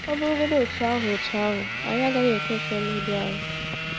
Ọ̀ bụrụgodị otú ahụ, otú ahụ, anyị agaghị ekwe ka ọ mebie anyị.